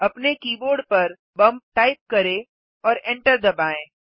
अपने कीबोर्ड पर bump type करें और एंटर दबाएँ